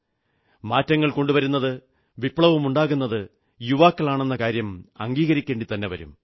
മാറ്റങ്ങൾ കൊണ്ടുവരുന്നത് വിപ്ലവമുണ്ടാക്കുന്നത് യുവാക്കളാണെന്ന കാര്യം അംഗീകരിക്കേണ്ടിത്തന്നെ വരും